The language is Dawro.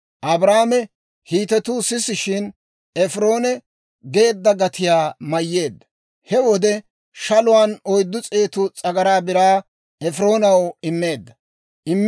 Abrahaame Hiitetuu sisishshin, Efiroone geedda gatiyaa mayyeedda; he wode shaluwaan oyddu s'eetu s'agaraa biraa Efiroonaw immeedda.